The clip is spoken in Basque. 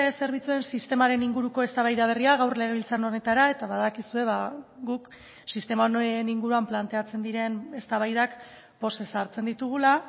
zerbitzuen sistemaren inguruko eztabaida berria gaur legebiltzar honetara eta badakizue guk sistema honen inguruan planteatzen diren eztabaidak pozez hartzen ditugula